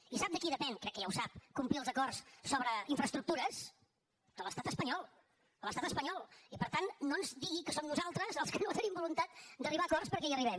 i sap de qui depèn crec que ja ho sap complir els acords sobre infraestructures de l’estat espanyol de l’estat espanyol i per tant no ens digui que som nosaltres els que no tenim voluntat d’arribar a acords perquè hi arribem